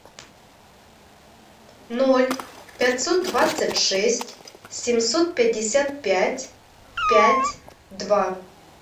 ноль пятьсот двадцать шесть семьсот пятьдесят пять пять два